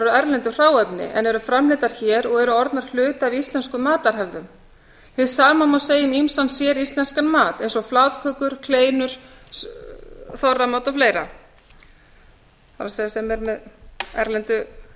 erlendu hráefni en eru framleiddar hér og eru orðnar hluti af íslenskum matarhefð hið sama má segja um ýmsan séríslenskan mat eins og flatkökur kleinur þorramat og fleira það er sem eru með erlendu